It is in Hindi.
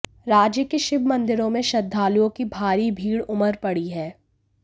राज्य के शिव मंदिरों में श्रद्घालुओं की भारी भीड़ उमड़ पड़ी है